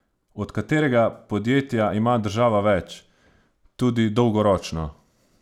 Od katerega podjetja ima država več, tudi dolgoročno?